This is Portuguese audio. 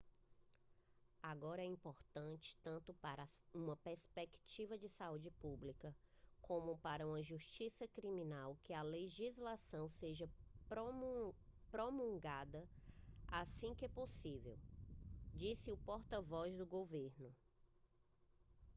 agora é importante tanto para uma perspectiva de saúde pública como para uma de justiça criminal que a legislação seja promulgada assim que possível disse o porta-voz do governo